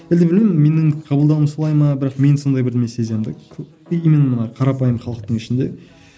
әлде білмеймін менің қабылдауым солай ма бірақ менің сондай бірдеңе солай сезем де именно қарапайым халықтың ішінде